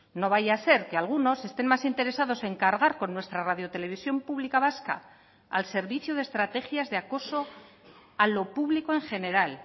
no vaya a ser que algunos estén más interesados en cargar con nuestra radio televisión pública vasca al servicio de estrategias de acoso a lo público en general